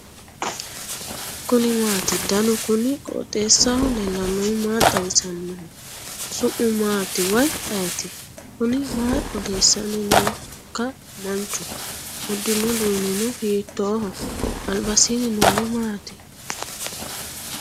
kuni maati ? danu kuni qooxeessaho leellannohu maa xawisanno su'mu maati woy ayeti ? kuni maa odeessanni nooikka manchu uddirino uduunnino hiittoho albasiinni noori maati